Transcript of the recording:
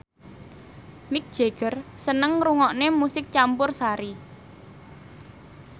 Mick Jagger seneng ngrungokne musik campursari